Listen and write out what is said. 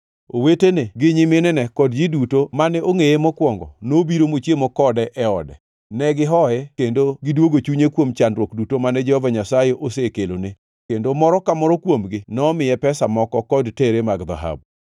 Owetene gi nyiminene kod ji duto mane ongʼeye mokwongo nobiro mochiemo kode e ode. Ne gihoye kendo gidwogo chunye kuom chandruok duto mane Jehova Nyasaye osekelone, kendo moro ka moro kuomgi nomiye pesa moko kod tere mar dhahabu.